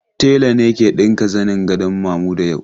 Tela ne ke ɗinka zanin gadon Mamuda yau.